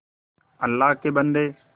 अल्लाह के बन्दे